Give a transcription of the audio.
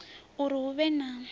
uri hu vhe na u